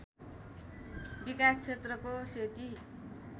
विकास क्षेत्रको सेती